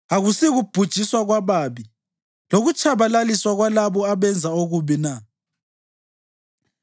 Akusikubhujiswa kwababi lokutshabalaliswa kwalabo abenza okubi na?